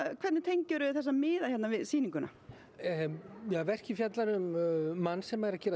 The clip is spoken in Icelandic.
hvernig tengir þú þessa miða við sýninguna verkið fjallar um mann sem er að gera